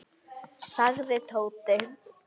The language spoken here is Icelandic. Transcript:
sagði Tóti.